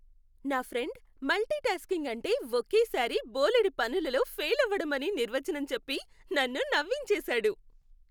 నా friend multitasking అంటే ఒకేసారి బోలెడు పనులలో ఫెయిలవ్వడం అని నిర్వచనం చెప్పి నన్ను నవ్వించేసాడు.